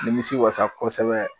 Nimisi wasa kosɛbɛ